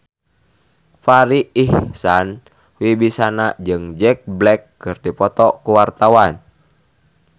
Farri Icksan Wibisana jeung Jack Black keur dipoto ku wartawan